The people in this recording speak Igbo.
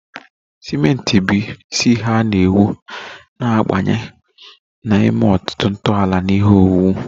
Simenti, bụ́ isi ihe a na-ewu, na-abanye na ime ọtụtụ ntọala na ihe owuwu